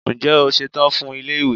Ǹjẹ́ o ṣetán fún ilé ìwé?